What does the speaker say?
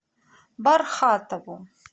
бархатову